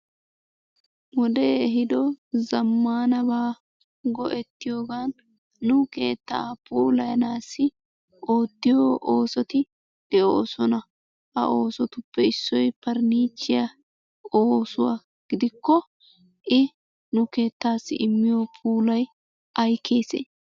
Wodee ehiido zammaanabaa go'ettiyogan nu keettaa puulayanaassi oottiyo oosoti de'oosona. Ha oosotuppe issoy parniichchiya oosuwa gidikko I nu keettaassi immiyo puulay ay keesee?